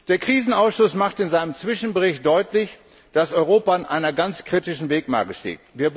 Der Krisenausschuss macht in seinem Zwischenbericht deutlich, dass Europa an einer ganz kritischen Wegmarke steht.